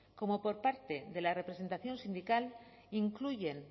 como por parte de la representación sindical incluyen